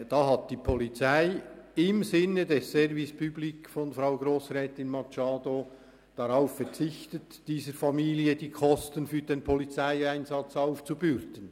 Damals verzichtete die Polizei im Sinne des Service public gemäss Frau Grossrätin Machado darauf, dieser Familie die Kosten für den Polizeieinsatz aufzubürden.